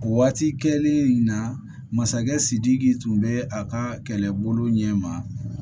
Waati kɛlen in na masakɛ sidiki tun bɛ a ka kɛlɛbolo ɲɛ ma